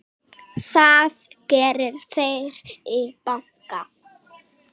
Það geri þeir í banka.